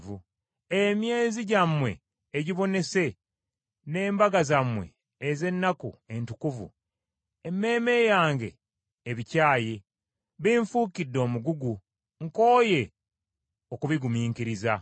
Emyezi gyammwe Egibonese n’embaga zammwe ez’ennaku entukuvu, emmeeme yange ebikyaye, binfuukidde omugugu, nkooye okubigumiikiriza.